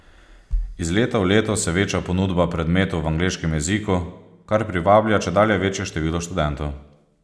Iz leta v leto se veča ponudba predmetov v angleškem jeziku, kar privablja čedalje večje število študentov.